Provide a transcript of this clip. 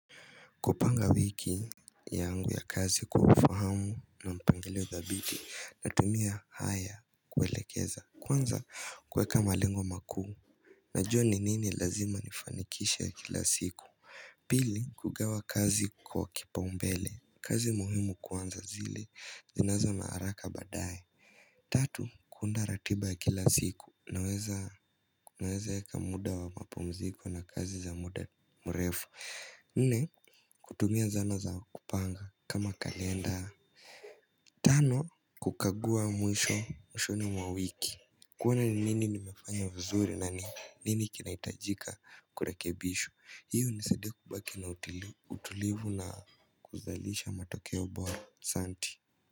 Kupanga wiki yangu ya kazi kwa ufahamu na mpangilio dhabiti natumia haya kuelekeza. Kwanza kuweka malengo makuu. Najua ni nini lazima nifanikishe kila siku. Pili kugawa kazi kwa kipaumbele. Kazi muhimu kwanza zile zinazo na haraka baadaye. Tatu kuunda ratiba ya kila siku naweza. Naweza eka muda wa mapumziko na kazi za muda mrefu. Nne kutumia zana za kupanga kama kalenda. Tano kukagua mwisho mwishoni mwa wiki. Kuona ni nini nimefanya vizuri nani nini kinahitajika kurekebishwa. Hiyo hunisaidia kubaki na utulivu na kuzalisha matokeo bora asanti.